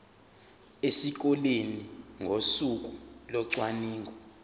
esikoleni ngosuku locwaningo